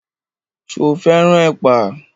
Ṣo fẹ́ràn ẹ̀pà?